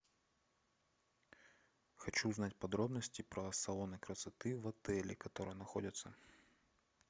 хочу узнать подробности про салоны красоты в отеле которые находятся